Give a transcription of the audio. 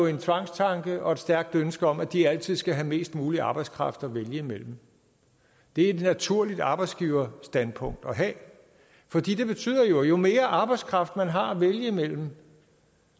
en tvangstanke og et stærkt ønske om at de altid skal have mest mulig arbejdskraft at vælge mellem det er et naturligt arbejdsgiverstandpunkt at have for det betyder at jo mere arbejdskraft man har at vælge mellem